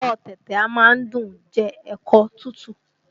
Ẹ̀fọ́ ọ tẹ̀tẹ̀ a máa dùn ún jẹ́ ẹ̀kọ́ tútù